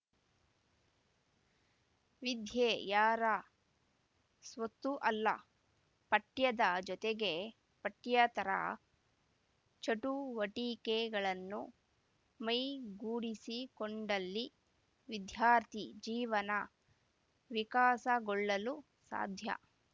ವಿದ್ಯೆ ಯಾರ ಸ್ವತ್ತೂ ಅಲ್ಲ ಪಠ್ಯದ ಜೊತೆಗೆ ಪಠ್ಯೇತರ ಚಟುವಟಿಕೆಗಳನ್ನು ಮೈಗೂಡಿಸಿಕೊಂಡಲ್ಲಿ ವಿದ್ಯಾರ್ಥಿ ಜೀವನ ವಿಕಾಸಗೊಳ್ಳಲು ಸಾಧ್ಯ